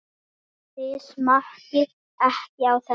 Þið smakkið ekki á þessu!